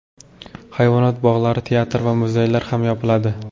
Hayvonot bog‘lari, teatr va muzeylar ham yopiladi.